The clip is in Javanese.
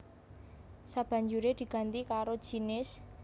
sabanjuré diganti karo jinis